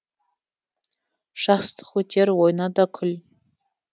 жастық өтер ойна да күл